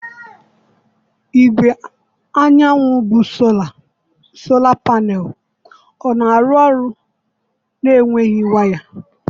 Igwe anyanwụ bụ Sola Panelu ọ na-arụ ọrụ na-enweghị waya?